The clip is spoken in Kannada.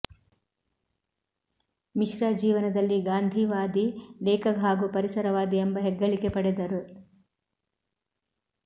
ಮಿಶ್ರಾ ಜೀವನದಲ್ಲಿ ಗಾಂಧಿವಾದಿ ಲೇಖಕ ಹಾಗೂ ಪರಿಸರವಾದಿ ಎಂಬ ಹೆಗ್ಗಳಿಕೆ ಪಡೆದರು